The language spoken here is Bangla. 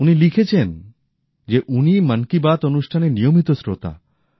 উনি লিখেছেন যে উনি মন কি বাত অনুষ্ঠানের নিয়মিত শ্রোতা